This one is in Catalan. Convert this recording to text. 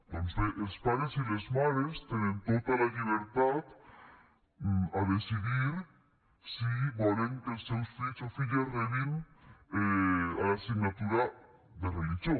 doncs bé els pares i les mares tenen tota la llibertat a decidir si volen que els seus fills o filles rebin l’assignatura de religió